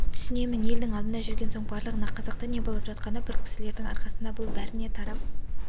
түсінемін елдің алдында жүрген соң барлығына қызықты не болып жатқаны бір кісілердің арқасында бұл бәріне тарап